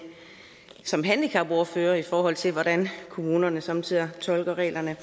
som handicapordfører i forhold til hvordan kommunerne somme tider tolker reglerne